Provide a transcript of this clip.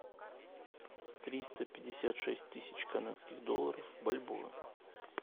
триста пятьдесят шесть тысяч канадских долларов в бальбоа